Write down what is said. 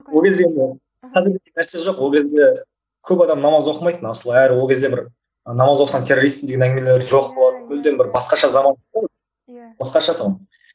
ол кезде енді қазіргідей нәрсе жоқ ол кезде көп адам намаз оқымайтын асылы әрі ол кезде бір намаз оқысаң террористсің деген әңгімелер жоқ болатын мүлдем бір басқаша заман басқаша тұғын